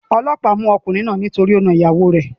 Olóòpá mú okùnrin náà nítorí o na ìyàwo rè